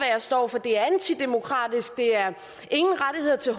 for det er antidemokratisk det er ingen rettigheder til